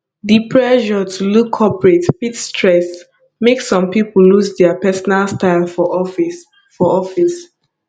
di pressure to look corporate fit stress make some pipo lose dia personal style for office for office